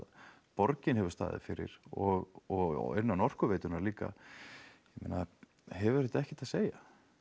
borgin hefur staðið fyrir og og innan Orkuveitunnar líka ég meina hefur þetta ekkert að segja